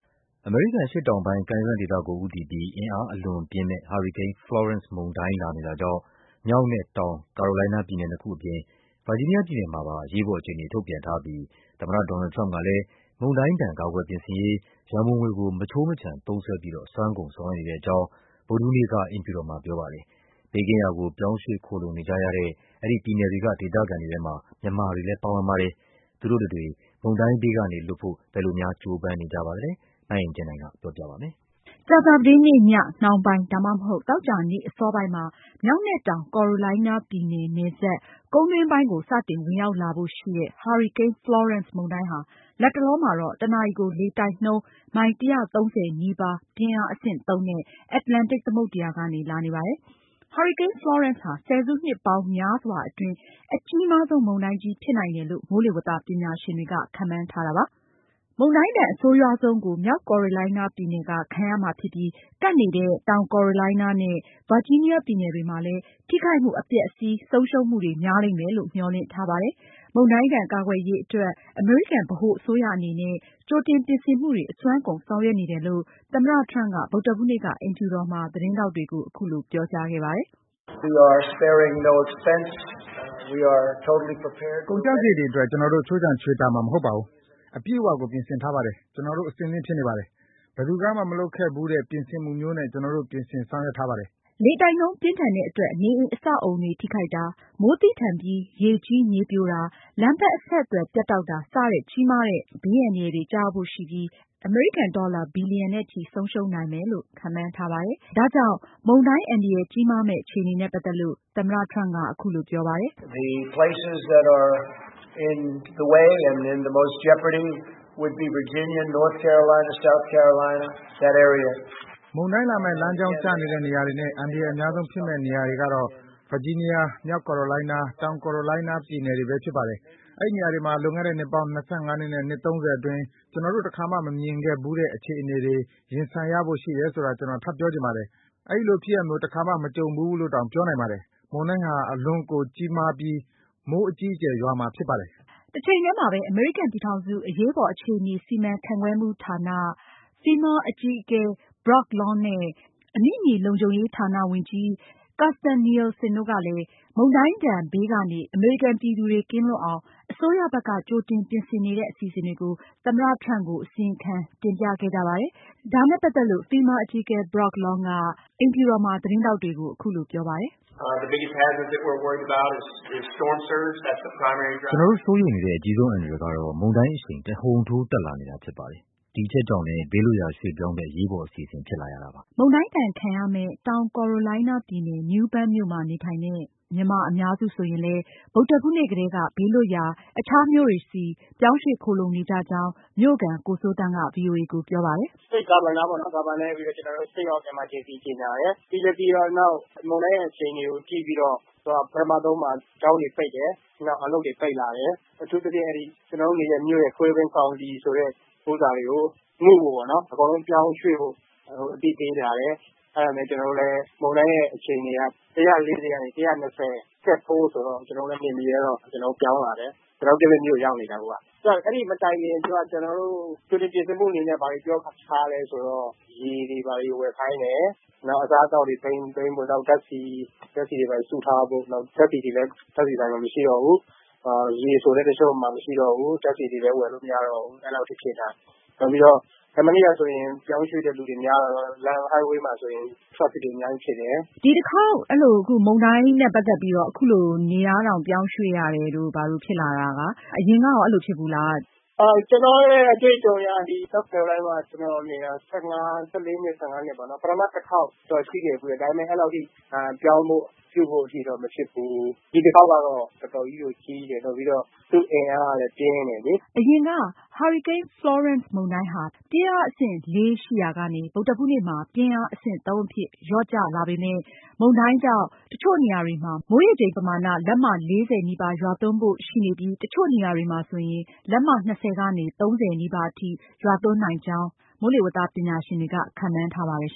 အမေရိကန် အရှေ့တောင်ပိုင်း ကမ်းရိုးတန်းဒေသကို ဦးတည်ပြီး အင်အားအလွန်ပြင်းမယ့် ဟာရီကိန်း Florence မုန်တိုင်းလာနေတာကြောင့် မြောက်နဲ့ တောင် ကိုရိုလိုင်းနား အပြင် ဗာဂျီနီးယားပြည်နယ်တွေမှာ အရေးပေါ် အခြေအနေ ထုတ်ပြန်ထားပြီး သမ္မတ ဒေါ်နယ်ထရမ့်ကလည်းမုန်တိုင်းဒဏ် ကာကွယ်ပြင်ဆင်ရေး ရံပုံငွေမခြိုမခြံသုံးစွဲပြီး အစွမ်းကုန်ဆောင်ရွက်နေကြောင်း မနေ့ ဗုဒ္ဓဟူးနေ့က အိမ်ဖြူတော်မှာ ပြောကြားခဲ့ပါတယ်။ အဲဒီပြည်နယ်တွေက ဒေသခံတွေလည်း ဘေးကင်းရာကို ပြောင်းရွှေ့ ခိုလှုံနေကြရတဲ့အထဲမှာမြန်မာတွေလည်း ပါဝင်ကြပါတယ်။ သူတို့တွေ ဘယ်လို မုန်တိုင်းဘေးကနေ လွတ်ဖို့ ကြိုးပမ်းနေကြပါသလဲ ဆိုတာကိုမအင်ကြင်းနိုင်က ဆက်ပြီးတင်ပြမှာပါ။ ကြာသာပတေးနေ့ညနှောင်းပိုင်း သို့မဟုတ် သောကြာနေ့ အစောပိုင်းမှာ မြောက်နဲ့ တောင် ကိုရိုလိုင်းနားပြည်နယ်နယ်စပ် ကုန်းတွင်းပိုင်းကို စတင်ဝင်ရောက်လာဖို့ရှိတဲ့ ဟာရီကိန်း Florence မုန်တိုင်းဟာ လတ်တလောမှာတော့တနာရီကို လေတိုက်နှုန်း မိုင် ၁၃၀ နီးပါး ပြင်းအားအဆင့် သုံး နဲ့အန္တတန်လန်တိတ် သမုဒ္ဒရာကနေ လာနေပါတယ်။ ဟာရီကိန်း Florence ဟာ ဆယ်စုနှစ်ပေါင်းများစွာအတွင်း အကြီးမားဆုံး မုန်တိုင်းကြီးဖြစ်နိုင်တယ်လို့ မိုးလေဝသပညာရှင်တွေကလည်း ခန့်မှန်းထားတာပါ။မုန်တိုင်းဒဏ် အဆိုးရွာဆုံးကို မြောက်ကိုရိုလိုင်းနားပြည်နယ်က ခံရမှာဖြစ်ပြီး ကပ်နေတဲ့ တောင်ကိုရိုလိုင်းနားနဲ့ ဗာဂျီးနီးယားပြည်နယ်တွေမှာလည်း ထိခိုက်မှု အပျက်အစီး ဆုံရှုံးမှုတွေ များလိမ့်မယ်လို့ မျှော်လင့်ထားပါတယ်။ မုန်တိုင်းဒဏ် ကာကွယ်ရေးအတွက် အမေရိကန်ဗဟိုအစိုးရအနေနဲ့ ကြိုတင်ပြင်ဆင်မှုတွေ အစွမ်းကုန် ဆောင်ရွက်နေတယ်လို့ သမ္မတ ထရမ့်က ဗုဒ္ဓဟူးနေ့က အိမ်ဖြူတော်မှာ သတင်းထောက်တွေကို အခုလို ပြောကြားခဲ့ပါတယ်။ “ကုန်ကျစရိတ်တွေအတွက် ကျနော်တို့ ခြိုးခြံချွေတာမှာ မဟုတ်ဘူး။ အပြည့်အဝကို ပြင်ဆင်ထားပါတယ်။ ကျနော်တို့ အဆင်သင့်ဖြစ်နေပါတယ်။ ဘယ်သူကမှ မလုပ်ခဲ့ဘူးတဲ့ ပြင်ဆင်မှုမျိုးနဲ့ ကျနော်တို့ ပြင်ဆင်ဆောင်ရွက်ထားပါတယ်။” လေတိုက်နှုန်းပြင်းထန်တဲ့အတွက် နေအိမ် အဆောက်အဦတွေ ထိခိုက်တာ၊ မိုးသည်းထန်ပြီး ရေကြီး၊ မြေပြိုတာ၊ လမ်းပန်းအဆက်အသွယ် ပြတ်တောက်တာ စတဲ့ ကြီးမားတဲ့ ဘေးအန္တရာယ် တွေကျရောက်ဖို့ရှိပြီး အမေရိကန်ဒေါ်လာ ဘီလီယံနဲ့ချီ ဆုံးရှုံးနိုင်မယ်လို့ ခန့်မှန်းထားပါတယ်။ မုန်တိုင်းအန္တရာယ် ကြီးမားမယ့် အခြေအနေနဲ့ ပတ်သက်လို့ သမ္မတက အခုလို ပြောပါတယ်။ “မုန်တိုင်းလာမယ့် လမ်းကြောင်းကျနေတဲ့နေရာတွေနဲ့ အန္တရာယ်အများ ဆုံးဖြစ်မယ့်နေရာတွေကတော့ ဗာဂျီနီးယား၊ မြောက်ကိုရိုလိုင်းနား၊ တောင်ကိုရိုလိုင်းနား ပြည်နယ်တွေပဲဖြစ်ပါတယ်။ အဲဒီနေရာတွေမှာ လွန်ခဲ့တဲ့ နှစ်ပေါင်း ၂၅ နှစ် နဲ့ ၃၀ အတွင်း ကျနော်တို့ တခါမှမမြင်ခဲ့ဘူးတဲ့ အခြေအနေတွေ ရင်ဆိုင်ရဖို့ရှိတယ်ဆိုတာ ကျနော် ထပ်ပြောချင်ပါတယ်။ အဲဒီလိုဖြစ်ရပ်မျိုး တခါမှ မကြုံဘူး ဘူးလို့တောင် ပြောနိုင်ပါတယ်။ မုန်တိုင်းဟာ အလွန်ကိုကြီးမားပြီး မိုးအကြီးအကျယ်ရွာမှာဖြစ်ပါတယ်။” တချိန်တည်းမှာပဲ အမေရိကန် ပြည်ထောင်စု အရေးပေါ်အခြေအနေ စီမံခန့်ခွဲမှုဌာန (FEMA) အကြီးအကဲ Brock Long နဲ့ အမိမြေလုံခြုံရေးဌာန ဝန်ကြီး Kirstjen Nielsen တို့ကလည်း မုန်တိုင်းဒဏ်ဘေးကနေ အမေရိကန်ပြည်သူတွေ ကင်းလွတ်အောင် အစိုးရဘက်က ကြိုတင်ပြင်ဆင်နေတဲ့ အစီအစဉ်တွေကို သမ္မတ ထရမ့်ကို အစီရင်ခံတင်ပြခဲ့ကြပါတယ်။ ဒါနဲ့ပတ်သက်လို့ FEMA အကြီးအကဲ Brock Long က အိမ်ဖြူတော်မှာ သတင်းထောက်တွေကို အခုလို ပြောပါတယ်။ “ကျနော်တို့ စိုးရိမ်နေတဲ့ အကြီးဆုံးအန္တရာယ်ကတော့ မုန်တိုင်းအရှိန်ဟာ တဟုန်ထိုး တက်လာနေတာဖြစ်ပါတယ်။ ဒီအချက်ကြောင့်လည်း ဘေးလွတ်ရာရွှေ့ပြောင်းတဲ့ အရေးပေါ်အစီအစဉ် ဖြစ်လာရတာပါ။” မုန်တိုင်းဒဏ် အဆိုးရွာဆုံးခံရမယ့် မြောက် ကိုရိုလိုင်းနားပြည်နယ် New Bern မြို့မှာ နေထိုင်တဲ့ မြန်မာအများစုဆိုရင်လည်း ဗုဒ္ဓဟူးနေ့ကတည်းက ဘေးလွတ်ရာ အခြားမြို့တွေဆီ ပြောင်းရွှေ့ခိုလှုံနေကြကြောင်း မြို့ခံ ကိုစိုးသန်းက ဗွီအိုအေကိုပြောပါတယ်။ “ State Governorပြည်နယ်အုပ်ချုပ်ရေးမှူးကနေ State of Emergency အရေးပေါ်အခြေအနေ ကြေညာတယ်။ ပြီးတော့ မုန်တိုင်းရဲ့ အခြေအနေကို ကြည့်ပြီးတော့ ပထမဆုံး ကျောင်းတွေပိတ်တယ်။ နောက် အလုပ်တွေ ပိတ်လာတယ်။ အထူးသဖြင့် ကျနော်တို့နေတဲ့ Craven County ဆိုတဲ့နေရာမှာ အကုန်လုံးပြောင်းရွှေ့ဖို့ အသိပေးလာတယ်။ မုန်တိုင်းရဲ့ အခြေအနေက ၁၂၀နဲ့ ၁၄၀ မိုင် ကြားရှိမယ်၊ ပြီးတော့ ပြင်းအားအဆင့် ၄ ဆိုတော့ ကျနော်တို့လည်း နေမရတော့တာနဲ့ ပြောင်းလာတယ်။ ကျနော်တို့ အခြားမြို့ကိုရောက်နေတယ်။ အဲဒီမတိုင်ခင် ကြိုတင် ပြင်ဆင်ဖို့ ဘာတွေပြောထားလဲဆိုရင် ရေတွေ ဝယ်ခိုင်းတယ်၊ နောက် အစားအသောက်တွေ စုဆောင်းဖို့၊ ဓါတ်ဆီတွေ စုထားဖို့။ ဓါတ်ဆီတွေလည်း ဓါတ်ဆီဆိုင်တွေမှာ မရှိတော့ဘူး။ ရေ ဆိုရင်လည်း ပြတ်သွားပြီ။ မနေ့ကဆိုရင်လည်း ပြောင်းရွှေ့တဲ့သူတွေ များတော့ အဝေးပြေးလမ်းမပေါ်မှာ ကားတွေပြည့်နေတယ်။” မုန်တိုင်းအန္တရာယ် ကျရောက်နိုင်တဲ့ပြည်နယ်တွေဖြစ်တဲ့ မြောက်နဲ့ တောင် ကိုရိုလိုင်းနား၊ ဗာဂျီနီးယား၊ မေရီလန်း ပြည်နယ်တွေအပါအဝင် ဝါရှင်တန်ဒီစီမှာ အရေးပေါ်အခြေအနေအဖြစ် သက်ဆိုင်ရာ ပြည်နယ်အစိုးရတွေက ထုတ်ပြန်ကြေညာထားပါတယ်။ အရင်က ဟာရီကိန်း Florence မုန်တိုင်းဟာ ပြင်းအားအဆင့် လေးရှိရာကနေ ဗုဒ္ဓဟူးနေ့မှာ ပြင်းအားအဆင့် သုံးအဖြစ်ကို လျော့ကျလာပေမယ့် မုန်တိုင်းကြောင့် တချို့နေရာတွေမှာမိုးရေချိန်ပမာဏ လက်မ ၄၀ နီးပါး ရွာသွန်းဖို့ရှိနိုင်ပြီး တချို့နေရာတွေမှာ လက်မ ၂၀ ကနေ ၃၀ နီးပါးအထိ ရွာသွန်းမှုရှိမှာဖြစ်တယ်လို့ ခန့်မှန်းထားပါတယ်